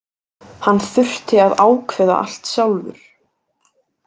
Hann þurfti að ákveða allt sjálfur.